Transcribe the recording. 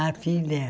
A filha?